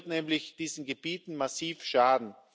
Dies wird nämlich diesen Gebieten massiv schaden.